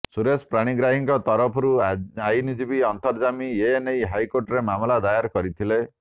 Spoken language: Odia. ସୁରେନ୍ଦ୍ର ପାଣିଗ୍ରାହୀଙ୍କ ତରଫରୁ ଆଇନଜୀବୀ ଅନ୍ତର୍ଯ୍ୟାମୀ ଏନେଇ ହାଇକୋର୍ଟରେ ମାମଲା ଦାୟର କରିଥିଲେ